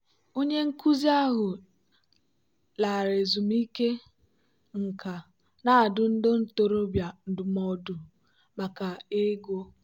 onye nkuzi ahụ lara ezumike nka na-adụ ndị ntorobịa ndụmọdụ maka ego.